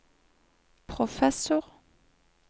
professor